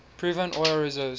proven oil reserves